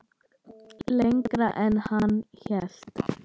Lengra en hann hélt